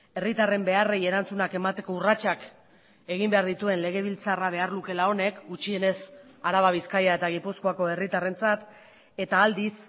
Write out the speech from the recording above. herritarren beharrei erantzunak emateko urratsak egin behar dituen legebiltzarra behar lukeela honek gutxienez araba bizkaia eta gipuzkoako herritarrentzat eta aldiz